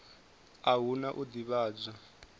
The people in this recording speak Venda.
a hu na u ḓivhadzwa